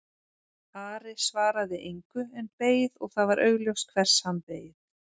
Ari svaraði engu en beið og það var augljóst hvers hann beið.